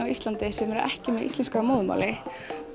á Íslandi sem er ekki með íslensku að móðurmáli